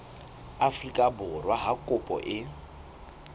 afrika borwa ha kopo e